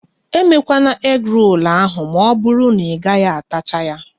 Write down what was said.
Emekwana egi rolu ahụ maọbụru na Ị gaghị atacha ya!